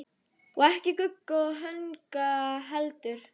Og ekki Gugga og Högna heldur.